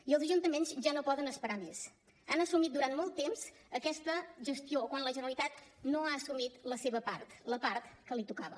i els ajuntaments ja no poden esperar més han assumit durant molt de temps aquesta gestió quan la generalitat no ha assumit la seva part la part que li tocava